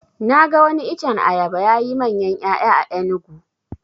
Na ga wani iccen ayaba yayi manyan ƴaya a enugu